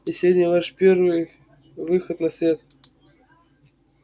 и сегодня ваш первый выход на свет